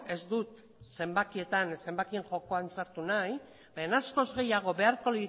ez dut zenbakien jokoan sartu nahi baina askoz gehiago beharko